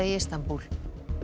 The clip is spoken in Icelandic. í Istanbúl